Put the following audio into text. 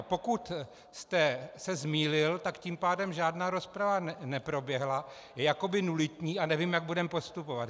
A pokud jste se zmýlil, tak tím pádem žádná rozprava neproběhla, je jako nulitní a nevím, jak budeme postupovat.